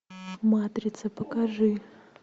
матрица покажи